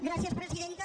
gràcies presidenta